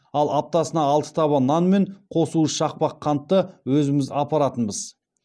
ал аптасына алты таба нан мен қос уыс шақпақ қантты өзіміз апаратынбыз